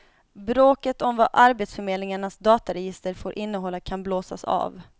Bråket om vad arbetsförmedlingarnas dataregister får innehålla kan blåsas av.